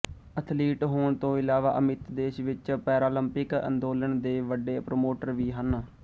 athlete ਹੋਣ ਤੋਂ ਇਲਾਵਾ ਅਮਿਤ ਦੇਸ਼ ਵਿੱਚ ਪੈਰਾਲੰਪਿਕ ਅੰਦੋਲਨ ਦੇ ਵੱਡੇ ਪ੍ਰਮੋਟਰ ਵੀ ਹਨ